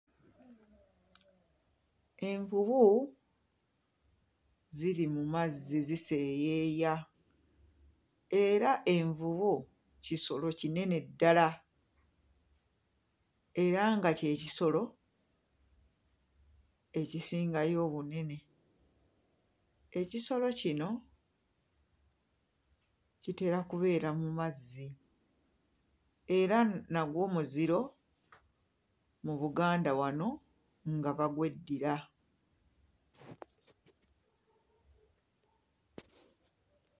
Envubu ziri mu mazzi ziseeyeeya era envubu kisolo kinene ddala era nga ky'ekisolo ekisingayo obunene. Ekisolo kino kitera kubeera mu mazzi era nagwo muziro mu Buganda wano nga bagweddira.